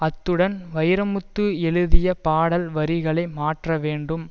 அத்துடன் வைரமுத்து எழுதிய பாடல் வரிகளை மாற்ற வேண்டும்